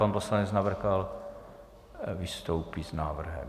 Pan poslanec Navrkal vystoupí s návrhem.